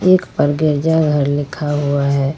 एक पर गिरजा घर लिखा हुआ है।